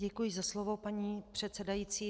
Děkuji za slovo, paní předsedající.